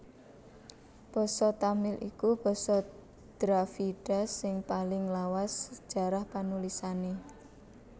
Basa Tamil iku basa Dravida sing paling lawas sajarah panulisané